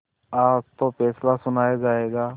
आज तो फैसला सुनाया जायगा